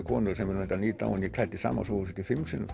konu sem er reyndar nýdáin en ég klæddi sama sófasettið fimm sinnum